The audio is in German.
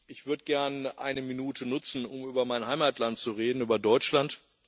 Ich würde gerne eine Minute nutzen, um über mein Heimatland zu reden, über Deutschland.